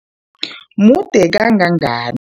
Mude kangangan